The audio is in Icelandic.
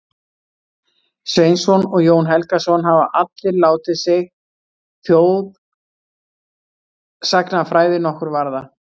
Sveinsson og Jón Helgason, hafa allir látið sig þjóðsagnafræði nokkru varða.